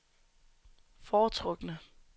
foretrukne